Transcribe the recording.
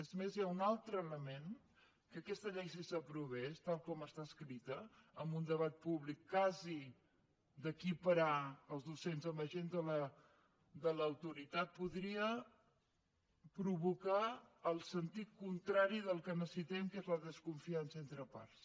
és més hi ha un altre element que aquesta llei si s’aprovés tal com està escrita amb un debat públic quasi d’equiparar els docents amb agents de l’autoritat podria provocar el sentit contrari del que necessitem que és la desconfiança entre parts